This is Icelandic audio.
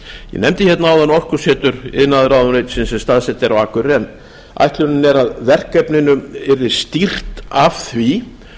ég nefndi áðan orkusetur iðnaðarráðuneytisins sem staðsett er á akureyri en ætlunin er að verkefninu yrði stýrt af því